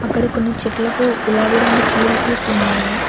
ఇక్కడ కొన్ని చెట్లకు గులాబీ రంగు పూలు పూసి ఉన్నాయి.